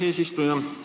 Aitäh, eesistuja!